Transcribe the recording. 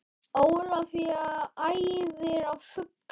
Ólafía æfir á fullu